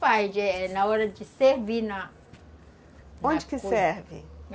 Faz, na hora de servir na... Onde que serve?